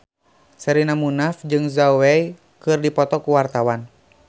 Sherina Munaf jeung Zhao Wei keur dipoto ku wartawan